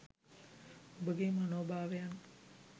ඔබගේ මනෝභාවයන්